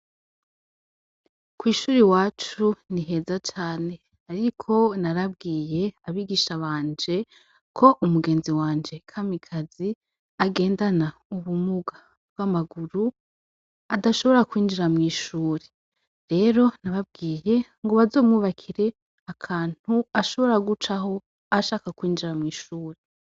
Kw'ishure iwacu ni heza cane. Ariko narabwiye abigisha banje ko umugenzi wanje Kamikazi agendana ubumuga bw'amaguru adashobora kwinjira mw'ishuri. Rero nababwiye ngo bazomwubakire akantu ashobora gucaho ashaka kwinjira mw'ishuri.